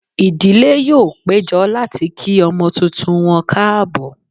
Ìdílé yóò péjọ láti kí ọmọ tuntun wọn káàbọ̀